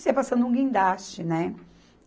Nisso ia passando um guindaste, né?